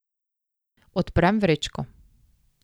Odprem vrečko.